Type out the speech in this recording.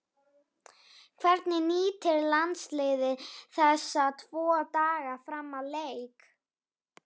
Hvernig nýtir landsliðið þessa tvo daga fram að leik?